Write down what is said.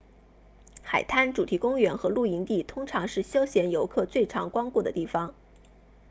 海滩主题公园和露营地通常是休闲游客最常光顾的地方